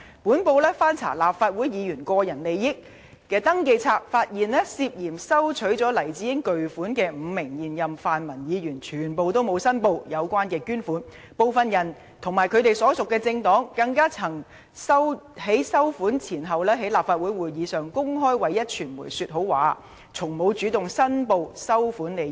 本報翻查立法會議員個人利益登記冊，發現涉嫌收取了黎智英巨款的5名現任泛民議員，全部都沒有申報有關捐款，部分人及其所屬政黨，更曾在收款前後，在立法會的會議上公開為壹傳媒說好話，但從未主動申報收款利益。